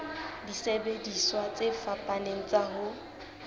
disebediswa tse fapaneng tsa ho